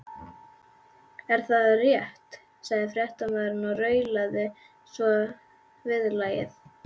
Er það rétt? sagði fréttamaðurinn og raulaði svo viðlagið.